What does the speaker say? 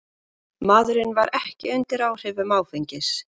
Maðurinn var ekki undir áhrifum áfengis